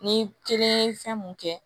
Ni kelen ye fɛn mun kɛ